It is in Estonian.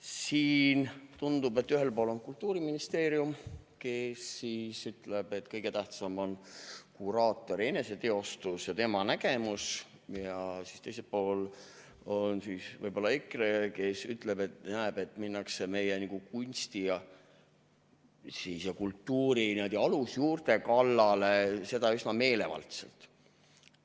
Siin tundub, et ühel pool on Kultuuriministeerium, kes ütleb, et kõige tähtsam on kuraatori eneseteostus ja tema nägemus, ja teisel pool on siis võib-olla EKRE, kes näeb, et minnakse meie kunsti ja kultuuri alusjuurte kallale ja seda üsna meelevaldselt.